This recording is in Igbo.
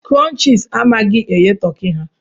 Crunchies amaghị eghe Turkey ha